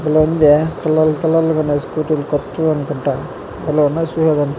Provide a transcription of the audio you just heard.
భలే ఉందే పుల్లలు పుల్లలుగా ఉన్నాయి స్కూటీలు కొత్తవి అనుకుంటా భలే ఉన్నాయి చుసేదానికి.